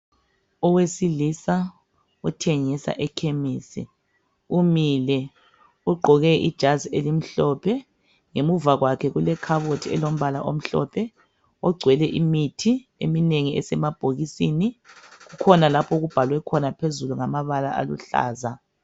Owesilisa othengisa ekhemesi umile ugqoke ijazi elimhlophe. Ngemuva kwakhe kulekhabothi elombala omhlophe ogcwele imithi eminengi esemabhokisini kukhona lapho okubhalwe khona phezulu ngamabala aluhlaza.